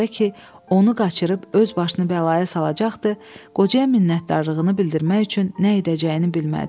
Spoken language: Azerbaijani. Bu qoca ki, onu qaçırıb öz başını bəlaya salacaqdı, qocaya minnətdarlığını bildirmək üçün nə edəcəyini bilmədi.